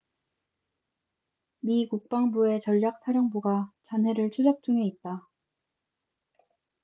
미 국방부의 전략사령부가 잔해를 추적 중에 있다